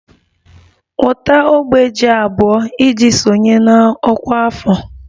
Weta ogbe ji abụọ iji sonye na ọkwa afọ!